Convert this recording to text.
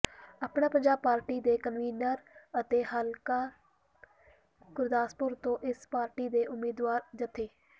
ਆਪਣਾ ਪੰਜਾਬ ਪਾਰਟੀ ਦੇ ਕਨਵੀਨਰ ਅਤੇ ਹਲਕਾ ਗੁਰਦਾਸਪੁਰ ਤੋਂ ਇਸ ਪਾਰਟੀ ਦੇ ਉਮੀਦਵਾਰ ਜਥੇ